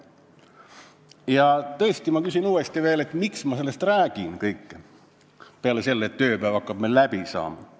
Ja tõesti, ma küsin uuesti, miks ma sellest räägin peale selle põhjuse, et tööpäev hakkab meil läbi saama.